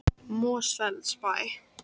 Mosfellsbæ